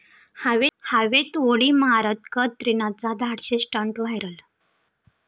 हवेत उडी मारत कतरिनाचा धाडसी स्टंट व्हायरल!